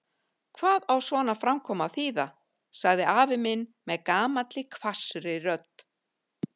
Hvað á svona framkoma að þýða? sagði afi minn með gamalli hvassri rödd.